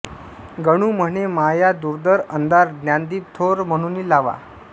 गणू म्हणे माया दुर्धर अंधार ज्ञानदीप थोर म्हणूनी लावा